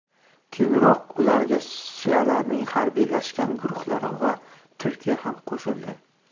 Keyinroq ularga shialarning harbiylashgan guruhlari va Turkiya ham qo‘shildi.